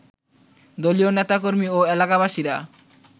দলীয় নেতাকর্মী ও এলাকাবাসীরা